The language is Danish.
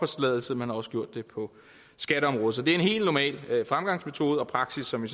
man har også gjort det på skatteområdet så det er en helt normal fremgangsmetode og praksis som vi